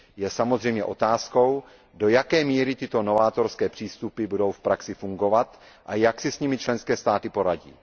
Je samozřejmě otázkou, do jaké míry tyto novátorské přístupy budou v praxi fungovat a jak si s nimi členské státy poradí.